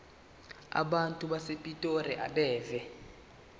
abantu basepitoli abeve